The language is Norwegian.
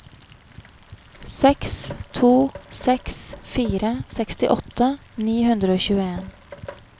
seks to seks fire sekstiåtte ni hundre og tjueen